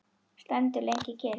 Stendur lengi kyrr.